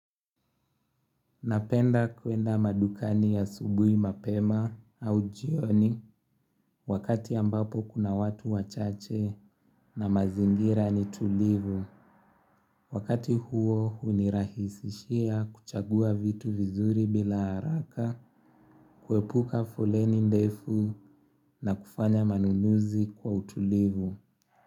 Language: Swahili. Napenda kwenda madukani yasubui mapema au jioni wakati ambapo kuna watu wachache na mazingira ni tulivu. Wakati huo hunirahisishia kuchagua vitu vizuri bila haraka kuepuka foleni ndefu na kufanya manunuzi kwa utulivu.